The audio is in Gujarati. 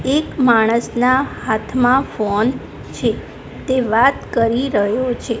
એક માણસના હાથમાં ફોન છે તે વાત કરી રહ્યો છે.